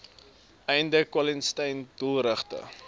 einde kwaliteiten doelgerigte